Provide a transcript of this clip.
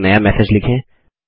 एक नया मैसेज लिखें